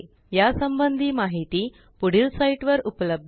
या संबंधी माहिती पुढील साईटवर उपलब्ध आहे